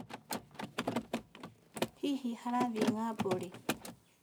Hihi arathiĩ ng'ambo rĩ?